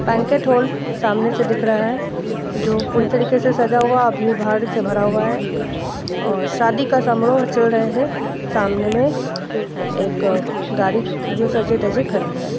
Banquet hall सामने से दिख रहा है जो पूरी तरीके से सजा हुआ और भीड़-भाड़ से भरा हुआ है और शादी का समारोह चल रहे है सामने में एक गाड़ी जो सजी धजी खड़ी है।